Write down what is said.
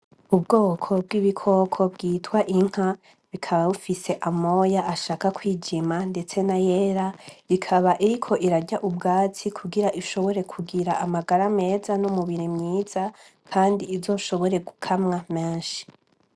Ubwoko bw'ibikoko bita inka, bukaba bufise amabara ashaka kwijima ndetse nayera, ikaba iriko irya ubwatsi kugire ishobora kugira amagara meza n' umubiri mwiza kandi kugire izoshobore gukamwa menshi.